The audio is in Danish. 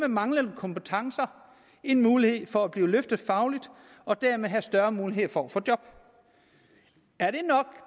manglende kompetencer en mulighed for at blive løftet fagligt og dermed have større muligheder for at få job er